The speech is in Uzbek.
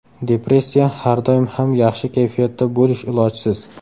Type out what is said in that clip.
Depressiya Har doim ham yaxshi kayfiyatda bo‘lish ilojsiz.